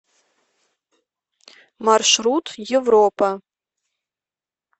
маршрут европа